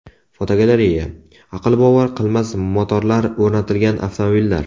Fotogalereya: Aqlbovar qilmas motorlar o‘rnatilgan avtomobillar.